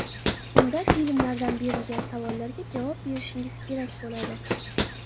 Unda filmlardan berilgan savollarga javob berishingiz kerak bo‘ladi.